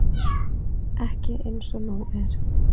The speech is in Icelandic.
Ekki eins og nú er.